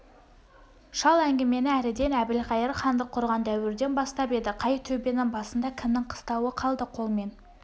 шал әңгімені әріден әбілқайыр хандық құрған дәуірден бастап еді қай төбенің басында кімнің қыстауы қалды қолмен